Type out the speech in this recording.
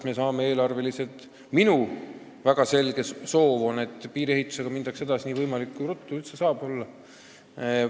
Minu väga selge soov on, et piiriehitusega minnakse edasi nii ruttu kui võimalik.